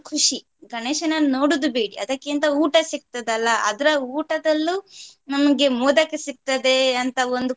ಖುಷಿ ಗಣೇಶನನ್ನು ನೋಡುದು ಬಿಡಿ ಅದಕ್ಕಿಂತ ಊಟ ಸಿಕ್ಥದಲ್ಲ ಅದ್ರ ಊಟದಲ್ಲೂ ನಮ್ಗೆ ಮೋದಕ ಸಿಕ್ತದೆ ಅಂತ ಒಂದು.